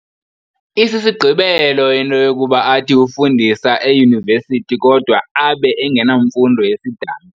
Isisigqebelo into yokuba athi ufundisa eYunivesithi kodwa abe engenamfundo yesidanga.